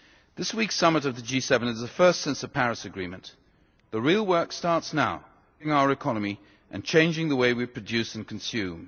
This week's summit of the G7 is the first since the Paris agreement. The real work starts now modernising our economy and changing the way we produce and consume.